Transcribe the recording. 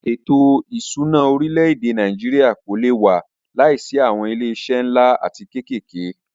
Ètò ìṣúná orílẹ̀-èdè Nàìjíríà kò lé wà láìsí awọn ilé iṣé nlá atí kékèké.